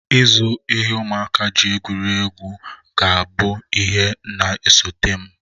Ịzụ ihe ụmụaka ji egwuri egwu akwụ ga-abụ ihe na-esote m